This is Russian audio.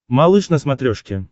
малыш на смотрешке